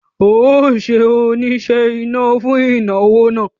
O óò ṣe oníṣe iná fún ìnáwó náà